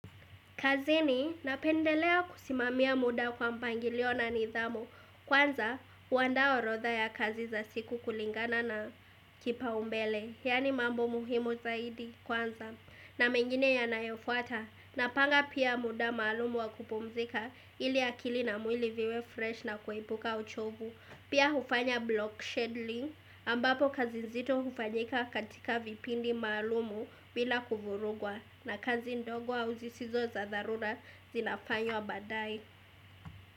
Kazini napendelea kusimamia muda kwa mpangilio na nidhamu. Kwanza, huandaa orodha ya kazi za siku kulingana na kipaumbele. Yaani mambo muhimu zaidi kwanza. Na mengine ya nayofuata. Napanga pia muda maalumu wa kupumzika ili akili na mwili viwe fresh na kuepuka uchovu. Pia hufanya blockchain link ambapo kazi nzito hufanyika katika vipindi maalumu bila kuvurugwa na kazi ndogo auzi sizo za dharura zinafanywa badae.